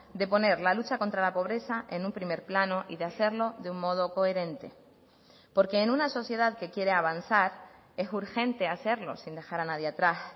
de poner la lucha contra la pobreza en un primer plano y de hacerlo de un modo coherente porque en una sociedad que quiere avanzar es urgente hacerlo sin dejar a nadie atrás